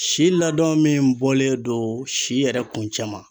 Si ladɔn min bɔlen do si yɛrɛ kuncɛma